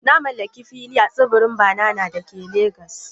Na mallaki fili a tsibirin Banana da ke Legas.